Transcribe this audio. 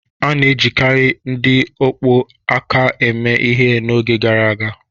A na-ejikarị ndị ọkpọ aka eme ihe n'oge gara aga